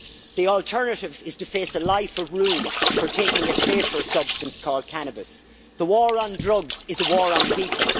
The alternative is to face a life of ruin for taking a safer substance called cannabis. The war on drugs is a war on people.